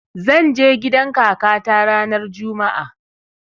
Zan je gidan kakata ranar juma'a